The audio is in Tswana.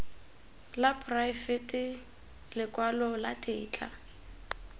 la poraefete lekwalo la tetla